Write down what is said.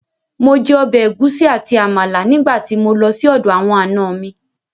Mo jẹ ọbẹ̀ ẹ̀gúsí àti Àmàlà nígbà tí mo lọ sí ọ̀dọ̀ àwọn ànọ mi